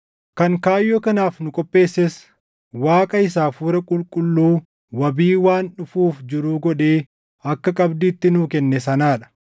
Kan kaayyoo kanaaf nu qopheesses Waaqa isa Hafuura Qulqulluu wabii waan dhufuuf jiruu godhee akka qabdiitti nuu kenne sanaa dha.